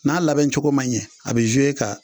N'a labɛncogo ma ɲɛ a bɛ e ka